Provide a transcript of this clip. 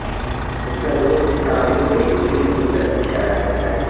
اس کا درست تعین ایک کلک کی طرف اشارہ کرتا